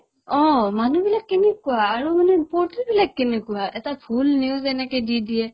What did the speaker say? অ, মানুহবিলাক কেনেকুৱা আৰু মানে portal বিলাক কেনেকুৱা এটা ভূল news এনেকে দি দিয়ে